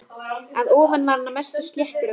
Að ofan var hann að mestu sléttur og gróinn.